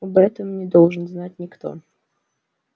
об этом не должен знать никто